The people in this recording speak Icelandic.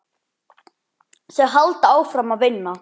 Þau halda áfram að vinna.